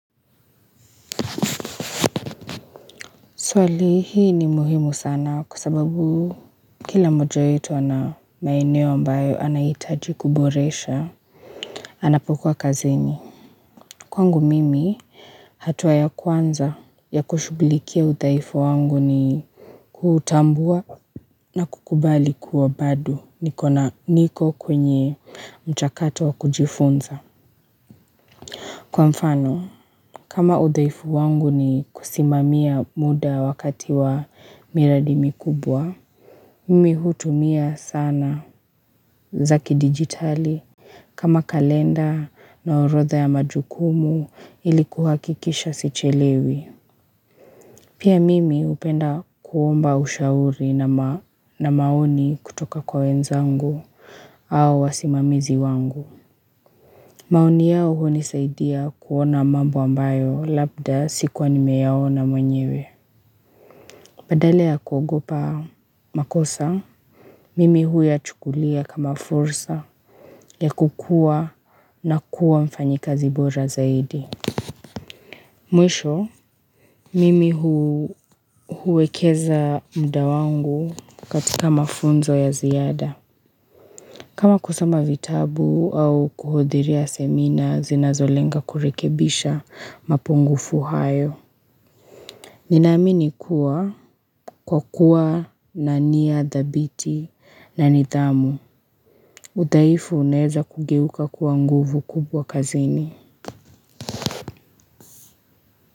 Swali hii ni muhimu sana kwa sababu kila moja wetu ana maeneo ambayo anahitaji kuboresha, anapokuwa kazini. Kwangu mimi hatua ya kwanza ya kushugulikia udhaifu wangu ni kutambua na kukubali kuwa bado nikona niko kwenye mchakato wa kujifunza. Kwa mfano, kama udhaifu wangu ni kusimamia muda wakati wa miradi mikubwa, Mimi hutumia sana za kidigitali kama kalenda na orodha ya majukumu ili kuhakikisha sichelewi. Pia mimi hupenda kuomba ushauri na maoni kutoka kwa wenzangu au wasimamizi wangu. Maoni yao hunisaidia kuona mambo ambayo labda sikuwa nimeyaona mwenyewe. Badala ya kugopa makosa, mimi huyachukulia kama fursa ya kukua na kuwa mfanyikazi bora zaidi. Mwisho, mimi huwekeza muda wangu katika mafunzo ya ziada. Kama kusoma vitabu au kuhudhuria semina zinazolenga kurekebisha mapungufu hayo. Ninaamini kuwa kwa kuwa na nia dhabiti na nidhamu. Udhaifu uneza kugeuka kuwa nguvu kubwa kazini.